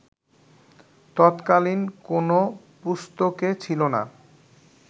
তৎকালীন কোন পুস্তকে ছিল না